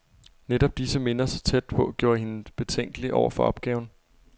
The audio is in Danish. Netop disse minder, så tæt på, gjorde hende betænkelig over for opgaven.